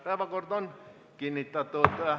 Päevakord on kinnitatud.